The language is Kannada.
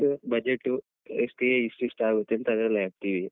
Place budget stay ಇಸ್ಟ್ ಇಸ್ಟ್ ಆಗುತ್ತೆ ಅಂತ ಅದ್ರಲ್ಲೇ ಹಾಕ್ತೀವಿ.